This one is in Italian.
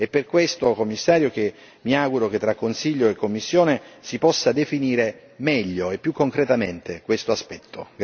È per questo, Commissario, che mi auguro che tra Consiglio e Commissione si possa definire meglio e più concretamente questo aspetto.